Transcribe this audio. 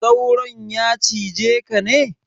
Sauron ya cize ka ne?